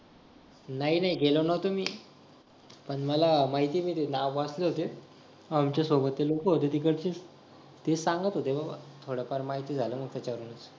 नाही नाही गेलो नव्हतो मी पण मला माहितीये मी ते नाव वाचले होते आमच्या सोबत ते लोक होते तिकडचे ते सांगत होते थोडीफार माहिती झालं ना त्याच्यावरून